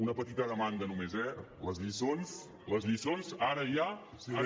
una petita demanda només eh les lliçons les lliçons ara ja